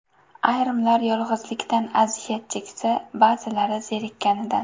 Ayrimlar yolg‘izlikdan aziyat cheksa, ba’zilari zerikkanidan.